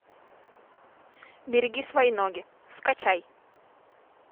береги свои ноги скачай